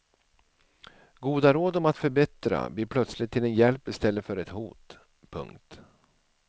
Goda råd om att förbättra blir plötsligt till en hjälp istället för ett hot. punkt